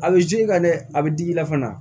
A bɛ i ka dɛ a bɛ digi i la fana